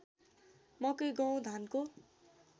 मकै गहुँ धानको